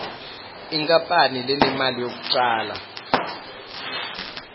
inkapani lenemali yekucala